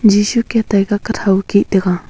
jisu kiatai kathow keh taiga.